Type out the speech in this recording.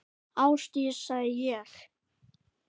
Ásdís, sagði ég.